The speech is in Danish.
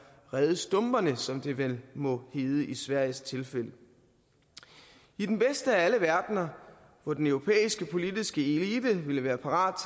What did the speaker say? redde stumperne som det vel må hedde i sveriges tilfælde i den bedste af alle verdener hvor den europæiske politiske elite ville være parat